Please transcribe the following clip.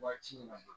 Waati in na